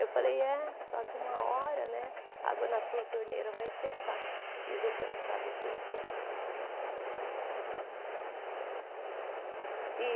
Eu falei, é, só que uma hora né a água na tua torneira vai secar e você não sabe por quê. E